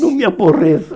Não me aborreça.